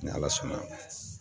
Ni ala sɔnna